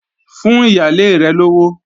Fún ìyálé rẹ̀ lówó!